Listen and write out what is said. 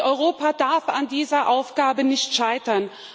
Europa darf an dieser Aufgabe nicht scheitern.